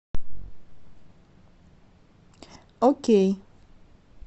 окей